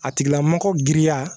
A tigilamɔgɔ giriya